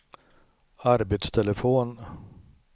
arbetstelefon